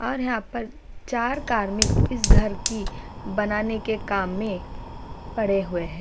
और यहाँ पर चार कार्मिक इस घर की बनाने के काम में पड़े हुए है।